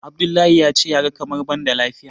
Abdullahi ya ce ya ga kamar ban da lafiya.